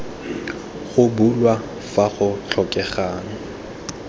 go bulwa fa go tlhokegang